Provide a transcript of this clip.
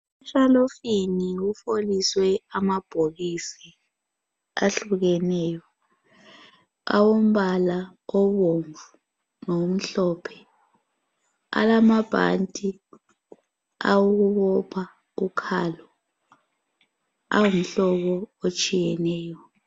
Eshalofini kufoliswe amabhokisi ahlukeneyo awombala obomvu lokumhlophe alamabhanti awokubopha ukhalo angumhlobo otshiyeneyo.